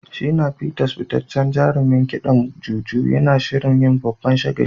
Shina Peters, fitaccen jarumin kidan Juju, yana shirin yin babban shagali.